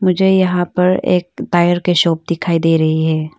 मुझे यहां पर एक टायर की शॉप दिखाई दे रही है।